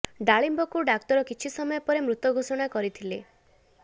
ଡାଲିମ୍ବଙ୍କୁ doctor କିଛି ସମୟ ପରେ ମୃତ ଘୋଷଣା କରିଥିଲେ